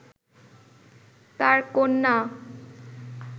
তার কন্যা